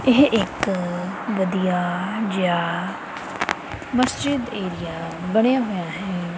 ਇਹ ਇੱਕ ਵਧੀਆ ਜਿਹਾ ਮਸਜਿਦ ਏਰੀਆ ਬਣਿਆ ਹੋਇਆ ਹੈ।